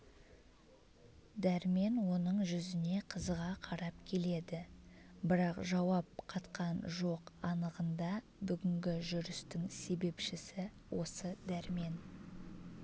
дәрмен оның жүзіне қызыға қарап келеді бірақ жауап қатқан жоқ анығында бүгінгі жүрістің себепшісі осы дәрмен